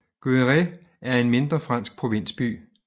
Guéret er en mindre fransk provinsby